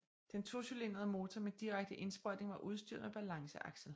Den tocylindrede motor med direkte indsprøjtning var udstyret med balanceaksel